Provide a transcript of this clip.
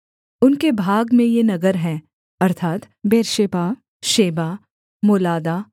उनके भाग में ये नगर हैं अर्थात् बेर्शेबा शेबा मोलादा